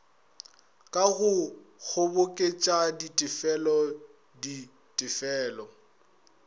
ka go kgoboketša ditefelo ditefelo